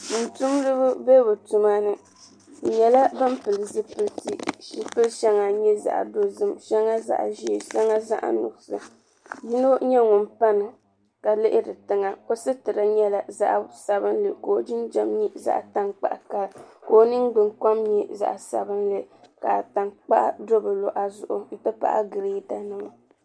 Tuuntumdiba be bɛ tuma ni bɛ nyɛla ban pili zipiliti zipili shɛŋa nyɛ zaɣ'dozim shɛŋa zaɣ'ʒee shɛŋa zaɣ'nuɣuso yino nyɛ ŋun pani ka lihiri tiŋa o sitira nyɛla zaɣ'sabinli ka o jinjam nyɛ zaɣ'tankpaɣu ka o ningbunkom nyɛ zaɣ'sabinli ka tankpaɣu do bɛ luɣa zuɣu nti pahi gireedanima.